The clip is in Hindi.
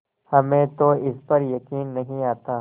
हमें तो इस पर यकीन नहीं आता